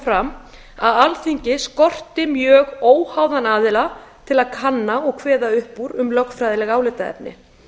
fram að alþingi skorti mjög óháðan aðila til að kanna og kveða upp úr um lögfræðileg álitaefni